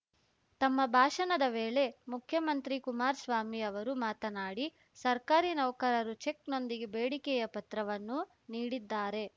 ತಮ್ಮ ಭಾಷಣದ ವೇಳೆ ಮುಖ್ಯಮಂತ್ರಿ ಕುಮಾರಸ್ವಾಮಿ ಅವರು ಮಾತನಾಡಿ ಸರ್ಕಾರಿ ನೌಕರರು ಚೆಕ್‌ನೊಂದಿಗೆ ಬೇಡಿಕೆಯ ಪತ್ರವನ್ನೂ ನೀಡಿದ್ದಾರೆ